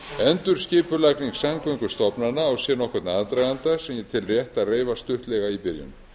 endurskipulagning samgöngustofnana á sér nokkurn aðdraganda sem ég tel rétt að reifa stuttlega í byrjun